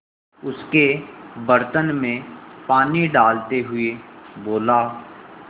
उसके बर्तन में पानी डालते हुए बोला